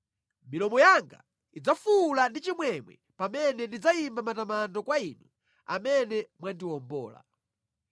Milomo yanga idzafuwula ndi chimwemwe pamene ndidzayimba matamando kwa Inu amene mwandiwombola.